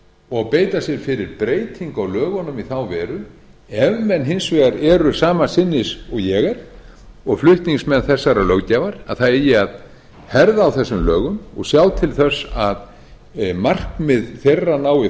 og beita sér fyrir breytingu á lögunum í þá veru ef menn hins vegar eru sama sinnis og ég er og flutningsmenn þessarar löggjafar að það eigi að herða á þessum lögum og sjá til þess að markmið þeirra nái